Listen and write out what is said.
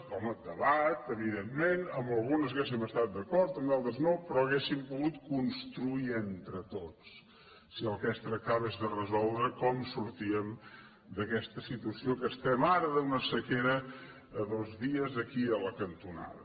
home debat evidentment en algunes hauríem estat d’acord en d’altres no però hauríem pogut construir entre tots si del que es tractava és de resoldre com sortíem d’aquesta si tuació en què estem ara d’una sequera a dos dies aquí a la cantonada